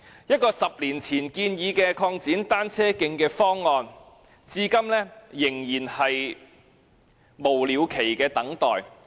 一個10年前建議的擴展單車徑的方案，完工日期至今仍是無了期地等待。